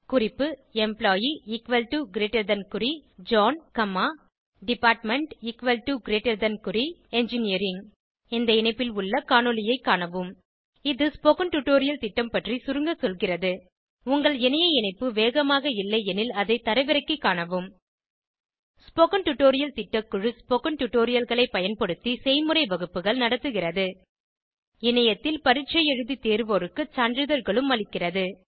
குறிப்பு employee equal to greater than குறி John comma department equal to greater than குறி engineering இந்த இணைப்பில் உள்ள காணொளியைக் காணவும் இது ஸ்போகன் டுடோரியல் திட்டம் பற்றி சுருங்க சொல்கிறது உங்கள் இணைய இணைப்பு வேகமாக இல்லையெனில் அதை தரவிறக்கிக் காணவும் ஸ்போகன் டுடோரியல் திட்டக்குழு ஸ்போகன் டுடோரியல்களைப் பயன்படுத்தி செய்முறை வகுப்புகள் நடத்துகிறது இணையத்தில் பரீட்சை எழுதி தேர்வோருக்கு சான்றிதழ்களும் அளிக்கிறது